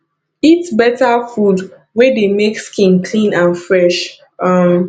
eat better food wey dey make skin clean and fresh um